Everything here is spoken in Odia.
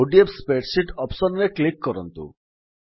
ଓଡିଏଫ୍ ସ୍ପ୍ରେଡସିଟ୍ ଅପ୍ସନ୍ ରେ କ୍ଲିକ୍ କରନ୍ତୁ